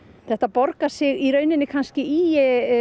þetta borgar sig kannski í